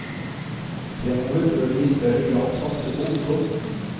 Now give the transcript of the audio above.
Fremover bør de i større grad satse på ungdom.